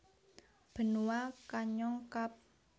Benua Kanyong Kab